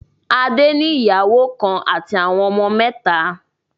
Adé ní ìyàwó kan àti àwọn ọmọ mẹ́ta.